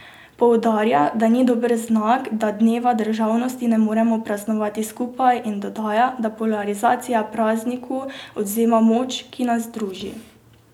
Poudarja, da ni dober znak, da dneva državnosti ne moremo praznovati skupaj in dodaja, da polarizacija prazniku odvzema moč, ki nas druži.